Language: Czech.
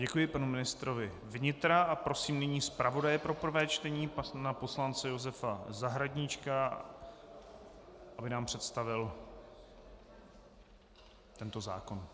Děkuji panu ministrovi vnitra a prosím nyní zpravodaje pro první čtení pana poslance Josefa Zahradníčka, aby nám představil tento zákon.